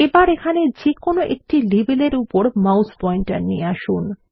এবার এখানে যে কোন একটি লেবেলের উপর মাউস পয়েন্টার নিয়ে আসুন